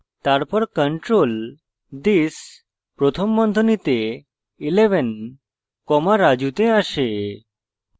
তারপর control this প্রথম বন্ধনীতে 11 comma raju then আসে